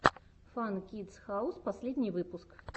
фан кидс хаус последний выпуск